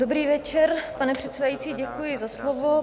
Dobrý večer, pane předsedající, děkuji za slovo.